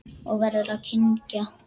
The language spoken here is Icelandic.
Og verður að kyngja.